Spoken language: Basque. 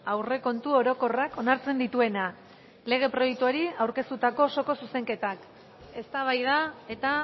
aurrekontu orokorrak onartzen dituena lege proiektuari aurkeztutako osoko zuzenketak eztabaida eta